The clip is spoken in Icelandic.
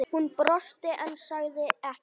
Hún brosti en sagði ekkert.